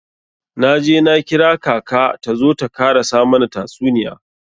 Na je na kira kaka ta zo ta karasa mana tasuniya.